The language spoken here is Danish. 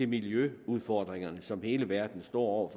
miljøudfordringer som hele verden står over